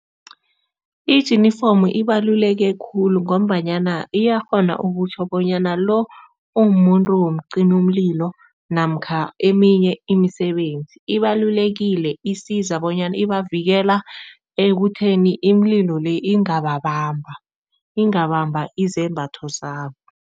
Ijinifomu ibaluleke khulu ngombanyana iyakghona ukutjho bonyana lo ungumuntu womcimumlilo namkha eminye imisebenzi. Ibalulekile, isiza bonyana ibavikela ekutheni imililo le ingababamba, ingabamba izembatho zabo.